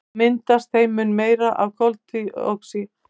Þá myndast þeim mun meira af koltvíildi.